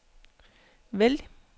vælg